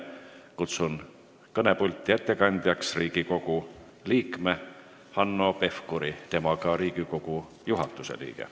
Kutsun ettekandeks kõnepulti Riigikogu liikme Hanno Pevkuri, ta on ka Riigikogu juhatuse liige.